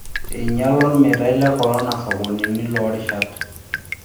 Einyala olmeitaoi le korona sokonini loo rishat.